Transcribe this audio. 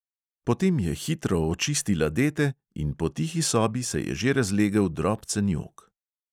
Potem je hitro očistila dete in po tihi sobi se je že razlegel drobcen jok.